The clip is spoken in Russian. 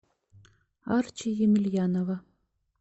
арчи емельянова